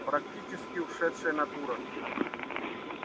практически ушедшая натура